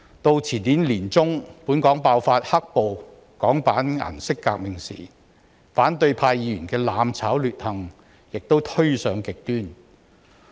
到前年年中本港爆發稱為"黑暴"的香港版顏色革命時，反對派議員的"攬炒"劣行亦推上極端。